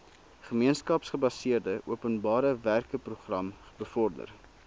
gemeenskapsgebaseerde openbarewerkeprogram bevorder